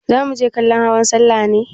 Za muje kallon hawan sallah ne?